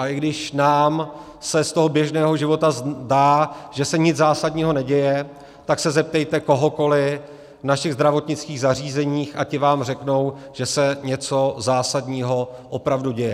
A i když nám se z toho běžného života zdá, že se nic zásadního neděje, tak se zeptejte kohokoli v našich zdravotnických zařízeních a ti vám řeknou, že se něco zásadního opravdu děje.